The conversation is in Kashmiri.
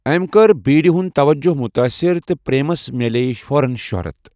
أمۍ کٔر بیٖڑِ ہُنٛد توجہ مُتٲثر تہٕ پریمَس مِلے فوراً شہرت۔